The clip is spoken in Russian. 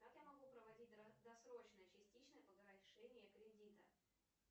как я могу проводить досрочное частичное погашение кредита